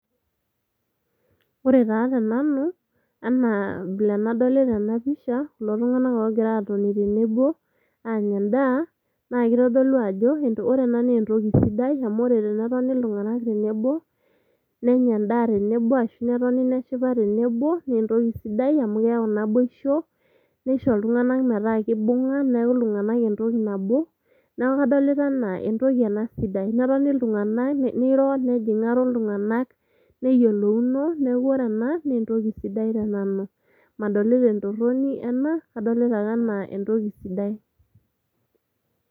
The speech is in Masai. Ore taa tenanu anaa vile nadolita ena pisha kulotunganak ogira atoni tenebo anya endaa ,naa kitodlu ajo ore ena naa entoki sidai . Amu ore tenetoni iltunganak tenebo, nenya endaa tenebo ashu netoni neshipa tenebo naa entoki sidai amukeyau naboisho nisho iltunganak metaa kibunga niaku iltunganak entoki nabo niaku kadolita anaa entoki ena sidai. Netoni iltunganak ,niro nejingaro iltunganak ,neyiolouno niaku ore ena naa entoki sidai ena tenanu , madolita entoroni ena , kadolita ake anaa entoki sidai.